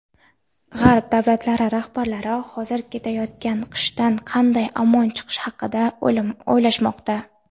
G‘arb davlatlari rahbarlari hozir kelayotgan qishdan qanday omon qolish haqida o‘ylashmoqda.